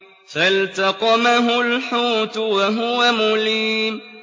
فَالْتَقَمَهُ الْحُوتُ وَهُوَ مُلِيمٌ